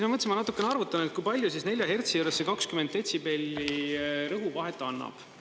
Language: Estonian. Ma mõtlesin, et natukene arvutan, kui palju 4 hertsi juures see 20 detsibelli rõhu vahet annab.